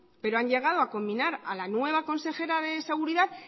pero han llegado a combinar a la nueva consejera de seguridad